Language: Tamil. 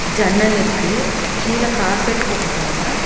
ஜன்னல் இருக்கு கீழ கார்பெட் போட்ருக்காங்க.